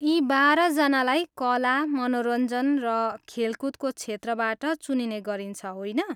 यी बाह्र जनालाई कला, मनोरञ्जन र खेलकुदको क्षेत्रबाट चुनिने गरिन्छ, होइन?